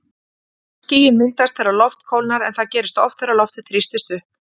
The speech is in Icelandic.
Skýin myndast þegar loft kólnar en það gerist oft þegar loftið þrýstist upp.